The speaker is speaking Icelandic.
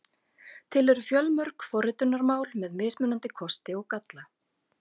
Til eru fjölmörg forritunarmál með mismunandi kosti og galla.